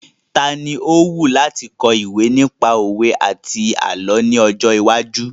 Tani ó wù láti kọ ìwé nípa òwe àti àlọ́ ní ọjọ́ iwájú?